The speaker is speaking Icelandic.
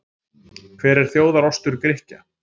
Hver er þjóðar-ostur Grikkja?